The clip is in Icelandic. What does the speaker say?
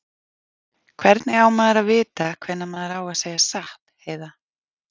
Hvernig á maður að vita hvenær maður á að segja satt, Heiða?